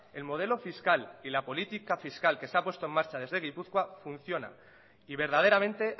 el modelo fiscal y la política fiscal que se ha puesto en marcha desde gipuzkoa funciona y verdaderamente